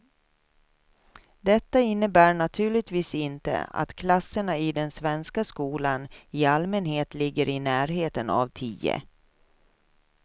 Detta innebär naturligtvis inte att klasserna i den svenska skolan i allmänhet ligger i närheten av tio.